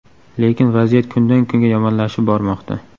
Lekin vaziyat kundan-kunga yomonlashib bormoqda.